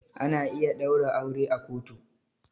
Ana iya ɗaura aure a kotu.